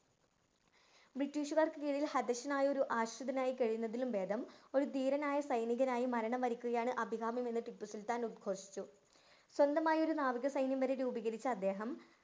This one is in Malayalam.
ബ്രിട്ടീഷുകാര്‍ക്ക് കീഴില്‍ ഹതശ്ശനായി ആശ്രിതനായി കഴിയുന്നതിലും ഭേദം ഒരു ധീരനായ സൈനികനായി മരണം വരിക്കുകയാണ് അഭികാമ്യമെന്ന് ടിപ്പു സുല്‍ത്താന്‍ ഉത്ഘോഷിച്ചു. സ്വന്തമായൊരു നാവിക സൈന്യം വരെ രൂപികരിച്ച അദ്ദേഹം